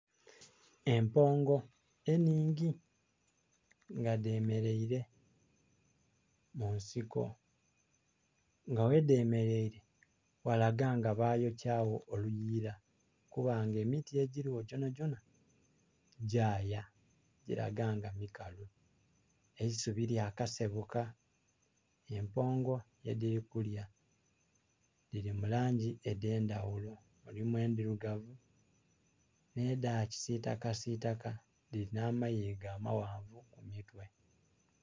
Empongo enhingi nga dhe mereire mu nsiko nga ghe dhemereire, ghalaga nga bayokyagho oluyila kuba nga emiti egiligho dhonadhona ti dhaya dhilaga nga mikalu, eisubi lya kasebuka empongo ye dhili kulya dhili mu langi eyendhaghulo mulimu endhirugavu nhe dha kisitaka sitaka dhilinha amayiiga amaghanvu ku mitwe.